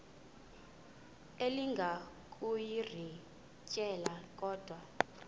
elinga ukuyirintyela kodwa